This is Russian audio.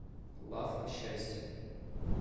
лавка счастья